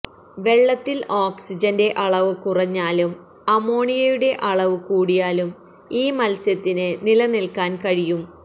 വെള്ളത്തില് ഓക്സിജന്റെ അളവ് കുറഞ്ഞാലും അമോണിയയുടെ അളവ് കൂടിയാലും ഈ മത്സ്യത്തിന് നിലനില്ക്കാന് കഴിയും